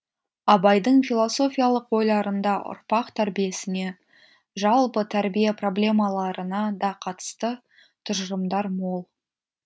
абайдың философиялық ойларында ұрпақ тәрбиесіне жалпы тәрбие проблемаларына да қатысты тұжырымдар мол